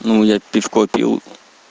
ну я пивко пью